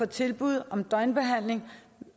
tilbud om døgnbehandling